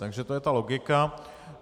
Takže to je ta logika.